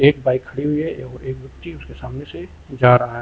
Bike खड़ी हुई है एक व्यक्ति उसके सामने से जा रहा है।